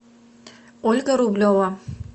ольга рублева